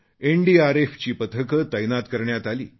एनडीआरएफची पथके तैनात करण्यात आली